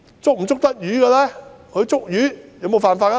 使用這些漁船捕魚有否違法呢？